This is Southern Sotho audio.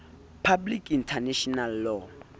public international law